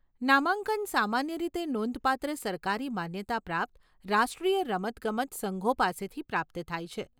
નામાંકન સામાન્ય રીતે નોંધપાત્ર સરકારી માન્યતા પ્રાપ્ત રાષ્ટ્રીય રમતગમત સંઘો પાસેથી પ્રાપ્ત થાય છે.